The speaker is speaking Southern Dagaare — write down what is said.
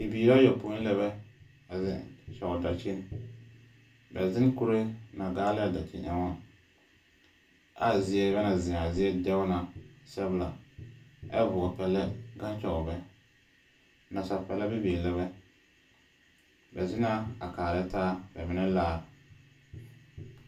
Bibiiraa yɔpoi lɛbɛ a zeŋ kyɔɔ dakyin. Bɛ zen kure na gaale a dakyin ɛoŋaa. Ɛa zie bɛ na zea a zie dɛo na sɛbla. ɛ vɔpɛlɛ gaŋ kyɔɔ bɛ. Nasapɛlɛ bibiir lɛbɛ. Bɛ zena a kaarɛ taar bɛ menɛ laar.